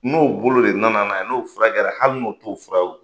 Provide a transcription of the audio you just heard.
N'o bolo re nana n'a ye n'o fura kɛra hali n'o t'o fura ye